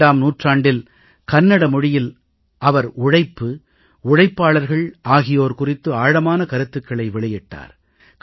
12ஆம் நூற்றாண்டில் கன்னட மொழியில் அவர் உழைப்பு உழைப்பாளர்கள் ஆகியோர் குறித்து ஆழமான கருத்துக்களை வெளியிட்டார்